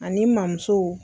Ani mamuso